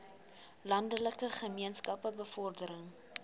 landelike gemeenskappe bevordering